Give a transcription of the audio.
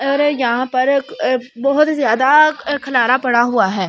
और यहां पर बहुत ज्यादा खलारा पड़ा हुआ है।